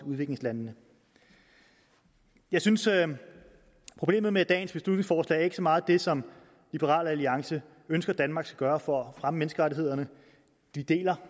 udviklingslandene jeg synes at problemet med dagens beslutningsforslag ikke så meget er det som liberal alliance ønsker danmark skal gøre for at fremme menneskerettighederne vi deler